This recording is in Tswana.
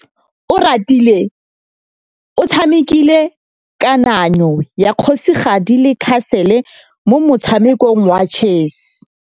Oratile o tshamekile kananyô ya kgosigadi le khasêlê mo motshamekong wa chess.